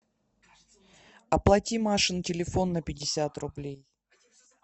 оплати машин телефон на пятьдесят рублей